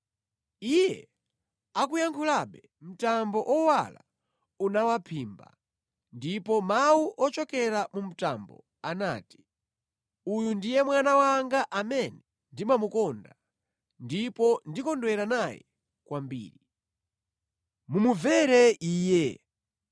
Iye akuyankhulabe, mtambo owala unawaphimba, ndipo mawu ochokera mu mtambo anati, “Uyu ndiye Mwana wanga amene ndimukonda ndipo ndikondwera naye kwambiri. Mumumvere Iye!”